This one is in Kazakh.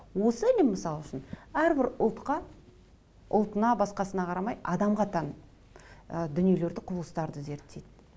осы ілім мысал үшін әрбір ұлтқа ұлтына басқасына қарамай адамға тән ы дүниелерді құбылыстарды зерттейді